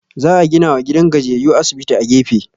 Za a ginawa gidan gajiyayyu asibiti a gefe